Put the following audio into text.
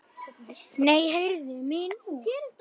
Nei, heyrðu mig nú!